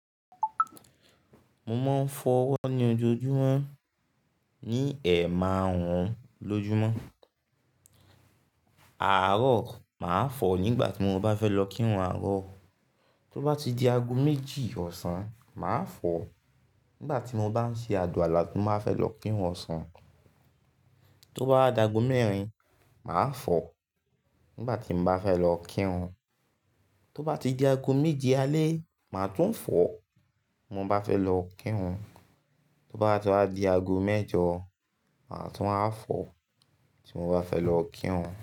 Mo máa ń fọ ọwọ́ ní ojoojúmọ́ ní ẹ̀mahun lójúmọ́. Àárọ̀ máa fọ nígbà tí mo bá fẹ́ lọ kírun àárọ̀. Tó bá ti di ago méjì ọ̀sán, màá fọ nígbà tí mo bá ń ṣe àdùà lá ti máa fẹ́ lọ kírun ọ̀sán. Tó bá wa ago mẹ́rin, màá fọ nígbà tí mo bá fẹ́ lọ kírun. Tó bá ti di ago méje alẹ́, màá tún fọ tí mo bá fẹ́ lọ kírun. Tó bá ti wá di ago mẹ́jọ, màá tún à fọ tí mo bá fẹ́ lọ kírun.